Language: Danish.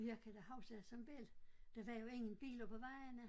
Jeg kan da huske at som belli der var jo ingen biler på vejene